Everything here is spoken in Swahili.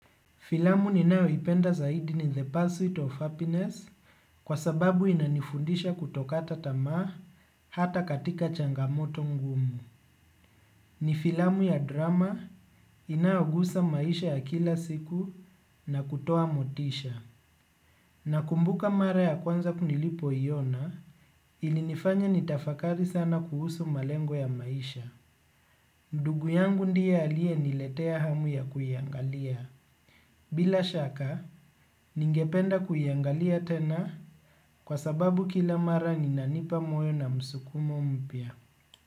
Filamu ninayoipenda zaidi ni The Pursuit of Happiness kwa sababu inanifundisha kutokata tamaa hata katika changamoto ngumu. Ni filamu ya drama inayogusa maisha ya kila siku na kutoa motisha. Nakumbuka mara ya kwanza nilipoiona ilinifanya nitafakari sana kuhusu malengo ya maisha. Ndugu yangu ndiye aliyeniletea hamu ya kuiangalia. Bila shaka, ningependa kuiangalia tena kwa sababu kila mara inanipa moyo na msukumo mpya.